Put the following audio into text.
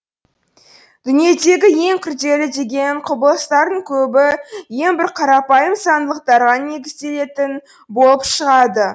дүниедегі ең күрделі деген құбылыстардың көбі ең бір қарапайым заңдылықтарға негізделетін болып шығады